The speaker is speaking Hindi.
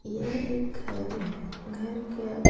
यह एक घर है घर क--